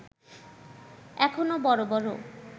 এখনো বড় বড়